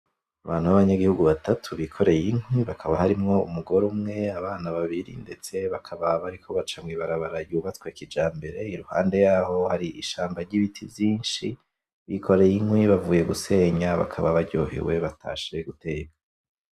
Abantu ba banyagihugu batatu bikoreye inkwi hakaba harimwo umugore umwe, abana babiri, ndetse bakaba bariko baca mw'ibarabara ryubatswe kijambere, iruhande yaho hari ishamba ry'ibiti vyinshi, bikoreye inkwi bavuye gusenya, bakaba baryohewe batashe guteka.